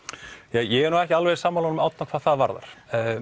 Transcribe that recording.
ég er ekki alveg sammála honum Árna hvað það varðar